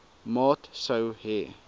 maat sou hê